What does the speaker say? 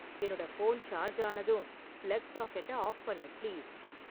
என்னோட phone charge ஆனதும் plug சாக்கெட்ட ஆஃப் பண்ணு பிளீஸ்